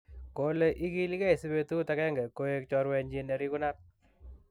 kole igilegei si betut ageng'e koiek chorwenyin nerigunat